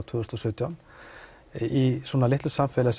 tvö þúsund og sautján í svona litlu samfélagi